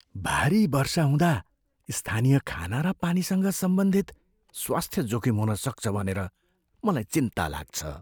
भारी वर्षा हुँदा स्थानीय खाना र पानीसँग सम्बन्धित स्वास्थ्य जोखिम हुन सक्छ भनेर मलाई चिन्ता लाग्छ।